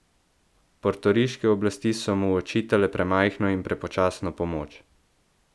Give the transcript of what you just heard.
Portoriške oblasti so mu očitale premajhno in prepočasno pomoč.